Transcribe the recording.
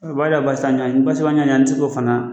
O baya basan ɲaɲ basiba ɲaɲa n ti se k'o fana